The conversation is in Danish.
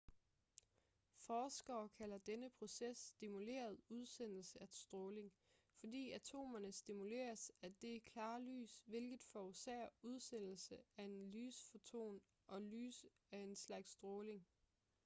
forskere kalder denne proces stimuleret udsendelse af stråling fordi atomerne stimuleres af det klare lys hvilket forårsager udsendelsen af en lysfoton og lys er en slags stråling